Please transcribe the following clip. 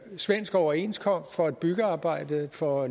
svensk overenskomst for et byggearbejde for